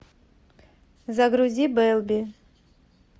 загрузи белби